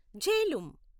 Jhelum